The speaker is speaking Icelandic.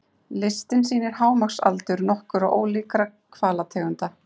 Listinn sýnir hámarksaldur nokkurra ólíkra hvalategunda.